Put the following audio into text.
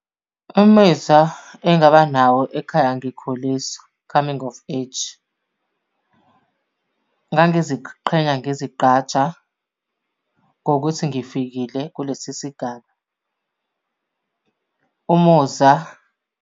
Imizwa engaba nawo ekhaya ngikhuliswa, coming of age, ngangiziqhenya ngizigqaja ngokuthi ngifikile kulesi sigaba. Umuzwa.